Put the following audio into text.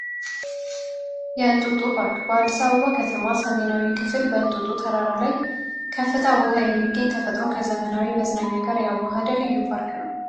የእንጦጦ ፓርክ በአዲሳ አበባ ከተማ ሰሜናዊ ክፍል በእንጦጦ ተራራ ላይ ከፍታ ውሃ የሚገኝ ተፈጥሮን ከዘመናዊ መዝናኛ ጋር ያዋሃደ ልዩ ፓርክ ነው።